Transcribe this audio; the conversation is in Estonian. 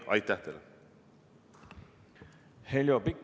Heljo Pikhof, palun!